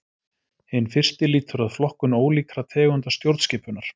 Hinn fyrsti lýtur að flokkun ólíkra tegunda stjórnskipunar.